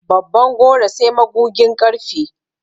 Babban goro sai magugin ƙarfe.